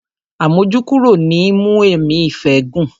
Àmójúkúrò ni í mú ẹ̀mí ìfẹ́ gùn.